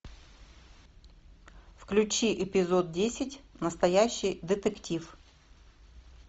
включи эпизод десять настоящий детектив